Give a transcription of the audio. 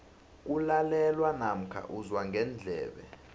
kulalelwa namkha uzwa ngendlebe